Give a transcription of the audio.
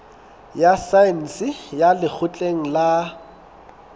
ya saense ya lekgotleng la